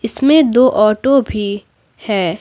इसमें दो ऑटो भी है।